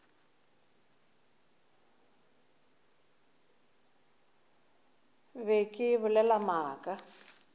be ke bolela maaka a